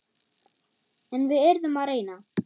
En við yrðum að reyna.